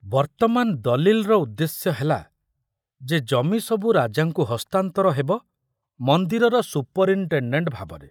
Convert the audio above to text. ବର୍ତ୍ତମାନ ଦଲିଲର ଉଦ୍ଦେଶ୍ୟ ହେଲା ଯେ ଜମି ସବୁ ରାଜାଙ୍କୁ ହସ୍ତାନ୍ତର ହେବ ମନ୍ଦିରର ସୁପରିନଟେଣ୍ଡେଣ୍ଟ ଭାବରେ।